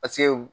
Paseke